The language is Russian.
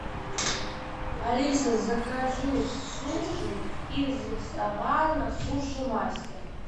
алиса закажи суши из ресторана суши мастер